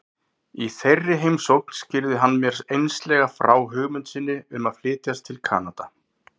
Í þeirri heimsókn skýrði hann mér einslega frá hugmynd sinni um að flytjast til Kanada.